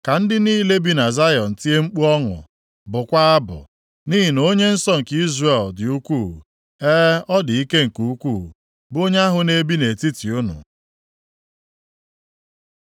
Ka ndị niile bi na Zayọn tie mkpu ọṅụ, + 12:6 \+xt Zef 3:14,15\+xt* bụkwaa abụ. Nʼihi na Onye nsọ nke Izrel. + 12:6 \+xt Abụ 89:18\+xt* dị ukwuu, e, ọ dị ike nke ukwuu, bụ Onye ahụ na-ebi nʼetiti unu.” + 12:6 \+xt Zef 3:17\+xt*